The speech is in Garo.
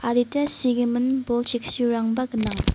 adita sigimin bol cheksirangba gnang.